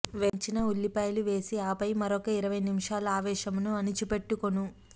వేయించిన ఉల్లిపాయలు వేసి ఆపై మరొక ఇరవై నిమిషాలు ఆవేశమును అణిచిపెట్టుకొను